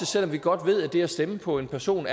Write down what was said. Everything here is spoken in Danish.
selv om vi godt ved at det at stemme på en person